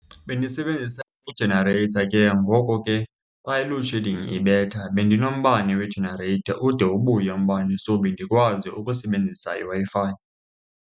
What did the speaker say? Bendisebenzisa i-generator, ke ngoko ke xa i-loadshedding ibetha bendinombane we-generator ude ubuye umbane. So bendikwazi ukusebenzisa iWi-Fi.